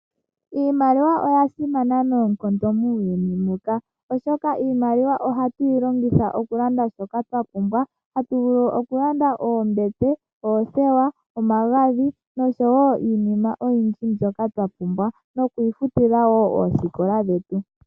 Iimaliwa oya simana noonkondo muuyuni muka, oshoka iimaliwa ohatu yi longitha okulanda shoka twa pumbwa, atu vulu wo okulanda oombete, oothewa, omagadhi, noshowo iinima oyindji mbyoka twa pumbwa, nokwiifutila wo oosikola dhetu.